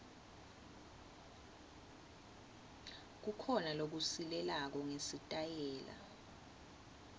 kukhona lokusilelako ngesitayela